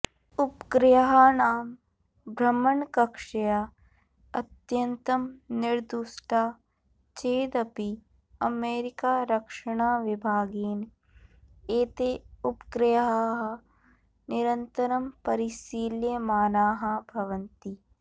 उपग्रहाणां भ्रमणकक्ष्या अत्यन्तं निर्दुष्टा चेदपि अमेरिकारक्षणाविभागेन एते उपग्रहाः निरन्तरं परिशील्यमानाः भवन्ति